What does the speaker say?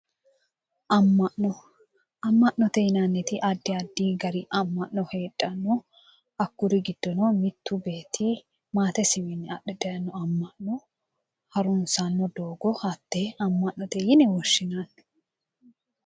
Ama'no ama'note yinanniti addi gari ama'no heedhano hakkuri giddono mittu beetti maatesiwiinni adhe dayino ama'no harunissanno doogo hatee ama'note yine woshinayi